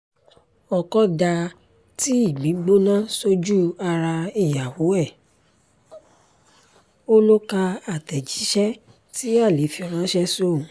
ọkọ dá tíì gbígbóná sójú ara ìyàwó ẹ̀ ó lọ ka àtẹ̀jíṣẹ́ tí alẹ́ fi ránṣẹ́ sóun